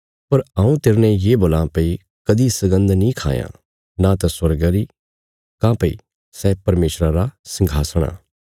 पर हऊँ तेरने ये बोलां भई कदीं सगन्द नीं खायां नां त स्वर्गा री काँह्भई सै परमेशरा रा संघासण आ